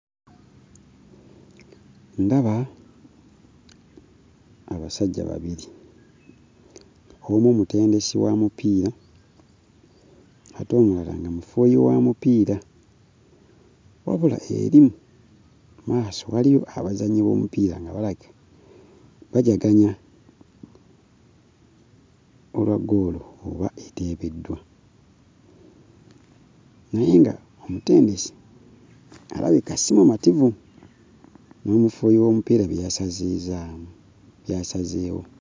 Ndaba abasajja babiri, omu mutendesi wa mupiira ate omulala nga mufuuyi wa mupiira. Wabula eri mmaaso waliyo abazannyi b'omupiira nga balaga bajaganya olwa goolo oba eteebeddwa naye nga omutendesi alabika si mumativu ng'omufuuyi w'omupiira bwe yasazizzaawo bwe yasazeewo.